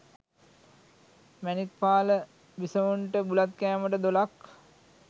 මැණික්පාල බිසොවුන්ට බුලත් කෑමට දොළක්